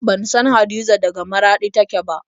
Ban san Hadiza daga Maraɗi take ba.